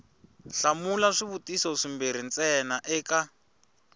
hlamula swivutiso swimbirhi ntsena eka